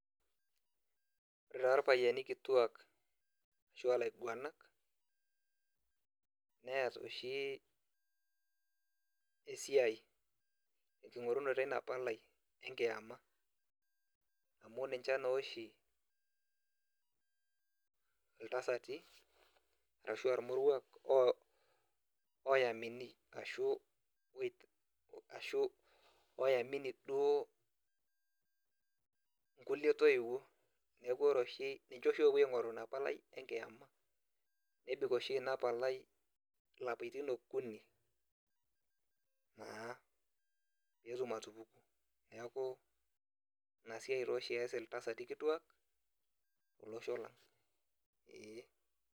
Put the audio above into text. Ore taa irpayiani kituak ashua ilaiguanak, neeta oshi esiai tenking'orunoto eina palai, enkiama. Amu ninche noshi iltasati, arashua irmoruak oyaminii, ashu oyamini duo inkulie toiwuoi. Neeku ore oshi ninche oshi opuo aing'oru inapalai enkiema, nebik oshi inapalai ilapaitin okuni naa petum atupuku. Neeku, inasiai toshi ees iltasati kituak, tolosho lang, ee.